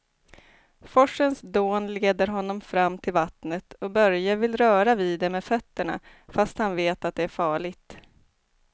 Forsens dån leder honom fram till vattnet och Börje vill röra vid det med fötterna, fast han vet att det är farligt.